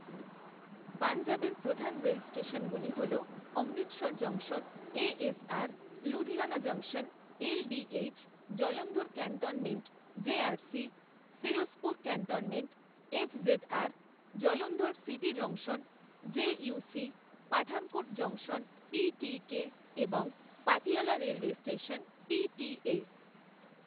পঞ্জাবের প্রধান রেল স্টেশনগুলি হল অমৃতসর জংশনে SR, Ludhiana junction LDH, Jalandhar cantonment JRC, Firozpur cantonment FZR, Jalandhar city junction JUC, Pathankot junction PTK এবং পাতিয়ালা রেলওয়ে স্টেশন পিটিএ।